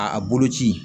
A boloci